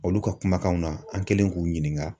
Olu ka kumakanw na an kɛlen k'u ɲininka.